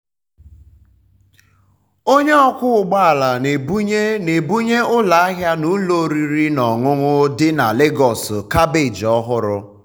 onye ọkwọ um ụgbọ ala na-ebunye na-ebunye ụlọ ahịa na ụlọ oriri na ọṅụṅụ dị na um lagos kabeeji ọhụrụ.